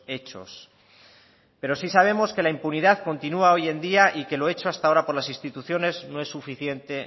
hechos pero sí sabemos que la impunidad continua hoy en día y que lo hecho hasta ahora por las instituciones no es suficiente